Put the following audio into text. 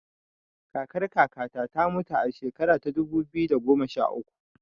Kakar kaka ta ta mutu a shekara ta dubu biyu da goma sha uku